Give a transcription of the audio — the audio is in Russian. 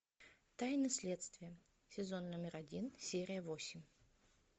тайны следствия сезон номер один серия восемь